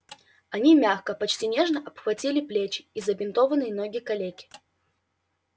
они мягко почти нежно обхватили плечи и забинтованные ноги калеки